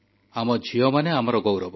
ଆମ ଝିଅମାନେ ଆମ ଗୌରବ